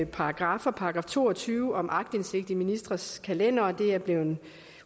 paragraffer § to og tyve om aktindsigt i ministres kalendere og det er blevet